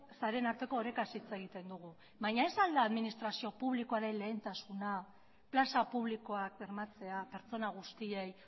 sareen arteko orekaz hitz egiten dugu baina ez al da administrazio publikoaren lehentasuna plaza publikoak bermatzea pertsona guztiei